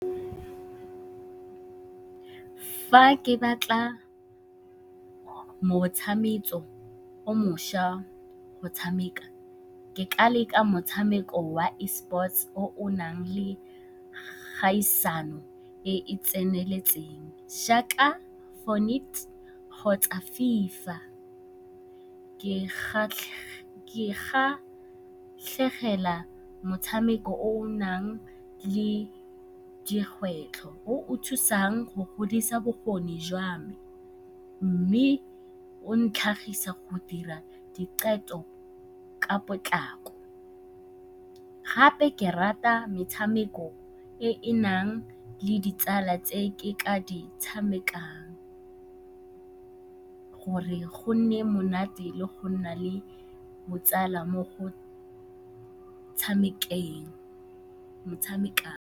Fa ke batla motshameko o mošwa go tshameka, ke ka leka motshameko wa e-sports o o nang le kgaisano e e tseneletseng jaaka Fort Knight kgotsa FIFA. Ke kgatlhegela motshameko o o nang le dikgwetlho, o o thusang go godisa bokgoni jwa me mme o ntlhagisa go dira diqetho ka potlako. Gape ke rata metshameko e e nang le ditsala tse ke ka di tshamekang gore go nne monate le go nna le botsala mo go tshamekeng .